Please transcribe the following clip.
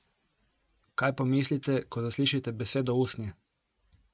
Kaj pomislite, ko zaslišite besedo usnje?